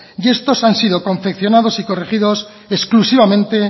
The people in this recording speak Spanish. y estos han sido confeccionados y corregidos exclusivamente